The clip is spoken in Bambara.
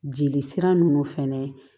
Jeli sira nunnu fɛnɛ